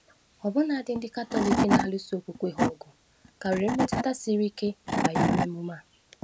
Ọbụna ndị Katọlik na-alụso okwukwe ha ọgụ ka nwere mmetụta siri ike banyere emume a.